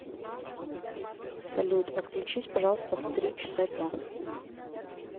салют отключись пожалуйста в три часа дня